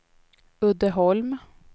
Uddeholm